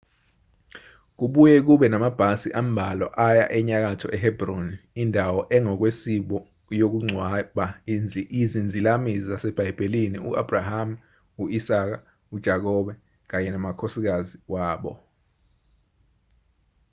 kubuye kube namabhasi ambalwa aya enyakatho ehebroni indawo engokwesiko yokungcwaba izinzalamizi zasebhayibhelini u-abrahamu u-isaka u-jakobe kanye namakhosikazi wabo